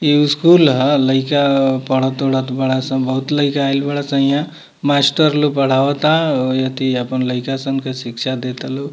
इ स्कूल है लइका पढ़त-उढ़त बाड़े सन बहुत लइका आइल बाड़े सन इहाँ मास्टर लोग पढ़ावत अउ एथी अपन लइका सन के शिक्षा दे ता लोग।